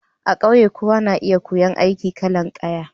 A ƙauye, kowa na iya koyon aikin kalan kaya.